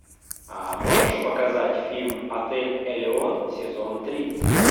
а можешь показать фильм отель элеон сезон три